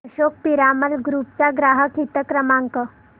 Ashok Piramal group चा ग्राहक हित क्रमांक